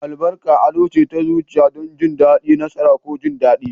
Albarka addu'a ce ta zuci don jin daɗi, nasara, ko jin daɗi.